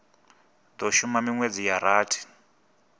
do shuma minwedzi ya rathi